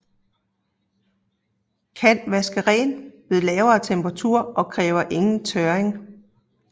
Kan vaske rent ved lave temperaturer og kræver ingen tørring